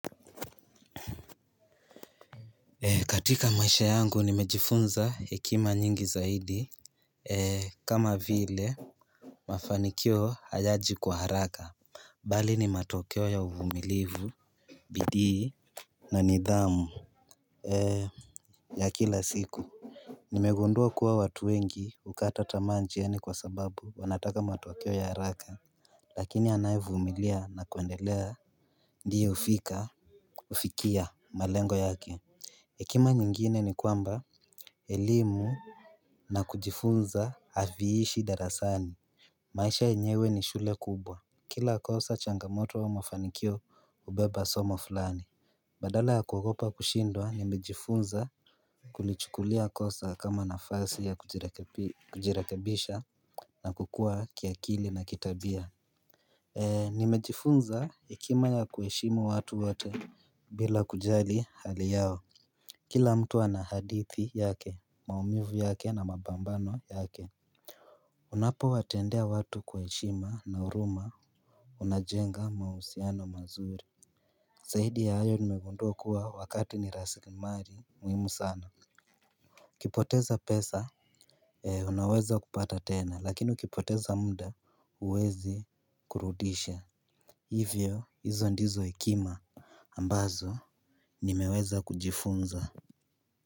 Ee katika maisha yangu nimejifunza hekima nyingi zaidi ee kama vile mafanikio hayaji kwa haraka bali ni matokeo ya uvumilivu bidii na nidhamu ee ya kila siku nimegundua kuwa watu wengi hukata tamaa njiani kwa sababu wanataka matokeo ya haraka lakini anayevumilia na kuendelea ndiye hufika hufikia malengo yake hekima nyingine ni kwamba elimu na kujifunza haviishi darasani. Maisha yenyewe ni shule kubwa. Kila kosa changamoto au mafanikio hubeba soma fulani. Badala ya kuogopa kushindwa nimejifunza kulichukulia kosa kama nafasi ya kujirekebisha na kukua kiakili na kitabia. Nimejifunza hekima ya kuheshimu watu wote bila kujali hali yao. Kila mtu ana hadithi yake, maumivu yake na mapambano yake. Unapo watendea watu kwa heshima na huruma unajenga mahusiano mazuri. Zaidi ya hayo nimegundua kuwa wakati ni rasilimali muhimu sana ukipoteza pesa, unaweza kupata tena, lakini ukipoteza muda huwezi kurudisha. Hivyo, hizo ndizo hekima ambazo, nimeweza kujifunza.